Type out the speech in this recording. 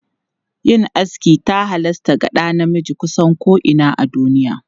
Yin aski ta halasta ga ɗa namiji kusan ko'ina a duniya.